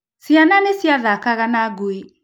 Ciana nĩ ciathakaga na ngui.